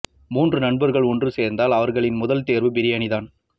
மூன்று நண்பர்கள் ஒன்று சேர்ந்தால் அவர்களின் முதல் தேர்வு பிரியாணி தான்